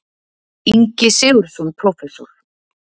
Ingi Sigurðsson prófessor.